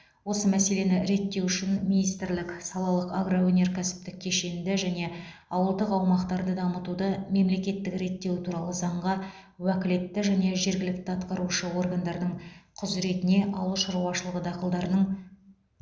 осы мәселені реттеу үшін министрлік салалық агроөнеркәсіптік кешенді және ауылдық аумақтарды дамытуды мемлекеттік реттеу туралы заңға уәкілетті және жергілікті атқарушы органдардың құзыретіне ауыл шаруашылығы дақылдарының